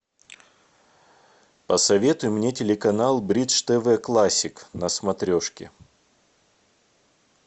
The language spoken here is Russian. посоветуй мне телеканал бридж тв классик на смотрешке